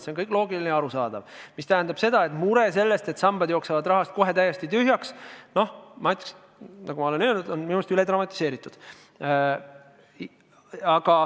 See kõik on loogiline ja arusaadav, mis tähendab seda, et mure selle pärast, et sambad jooksevad kohe rahast täiesti tühjaks, on minu meelest, nagu ma olen ka öelnud, üle dramatiseeritud.